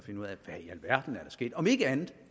er sket om ikke andet